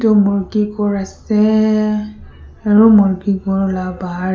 etu murgi ghor ase aru murgi ghor la bahar.